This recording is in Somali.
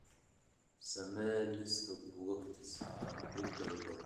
samee liiska buugaagta si aad u dalbato